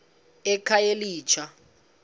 ekhayelitsha